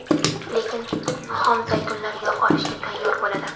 Lekin xom zaytunlar yog‘ olishga tayyor bo‘ladi.